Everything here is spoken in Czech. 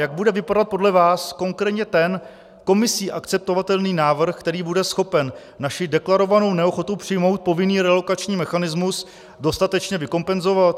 Jak bude vypadat podle vás konkrétně ten Komisí akceptovatelný návrh, který bude schopen naši deklarovanou neochotu přijmout povinný relokační mechanismus dostatečně vykompenzovat?